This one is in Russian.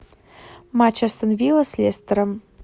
матч астон вилла с лестером